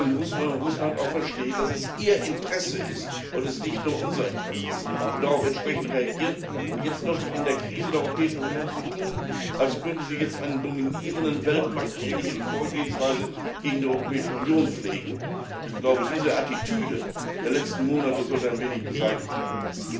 Deshalb muss Russland auch verstehen, dass es sein Interesse und nicht nur unser Interesse ist und darauf entsprechend reagieren. Jetzt noch in der Krise der Europäischen Union zu tun, als könnte man eine dominierende weltmachtähnliche Vorgehensweise gegen die Europäische Union pflegen ich glaube, diese Attitüde der letzten Monate sollte ein wenig beseitigt werden.